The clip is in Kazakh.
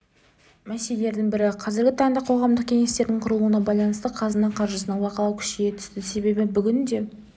мәселелердің бірі қазіргі таңда қоғамдық кеңестердің құрылуына байланысты қазына қаржысына бақылау күшейе түсті себебі бүгінде